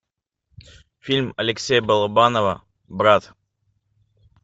фильм алексея балабанова брат